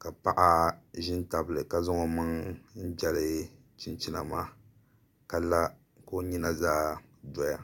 ka paɣa ʒi n tabili ka zaŋ o maŋ n jɛli chinchina maa ka la ka o nyina zaa doya